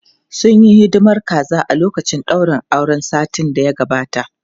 Sun yi hidimar kaza a lokacin daurin auren satin da ya gabata.